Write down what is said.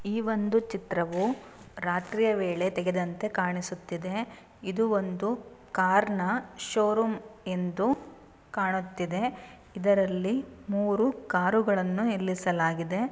ಈ ಒಂದು ಚಿತ್ರವು ರಾತ್ರಿಯ ವೇಳೆ ತೆಗೆದಂತೆ ಕಾಣಿಸುತ್ತಿದೆ. ಇದು ಒಂದು ಕಾರ್ ನ ಶೋರೂಮ್ ಎಂದು ಕಾಣುತ್ತಿದೆ. ಇದರಲ್ಲಿ ಮೂರು ಕಾರು ಗಳನ್ನು ನಿಲ್ಲಿಸಲಾಗಿದೆ.